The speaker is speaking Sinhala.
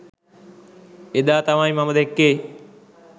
එදා තමයි මම දැක්කෙ